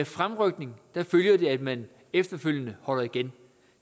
fremrykning følger at man efterfølgende holder igen